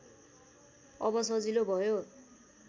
अब सजिलो भयो